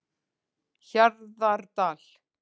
Hjarðardal